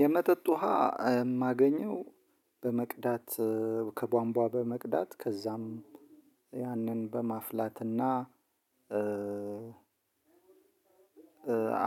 የመጠጥ ውሃ የማገኘው በመቅዳት ከቧንቧ በመቅዳት ከዛም፤ በማፍላት እና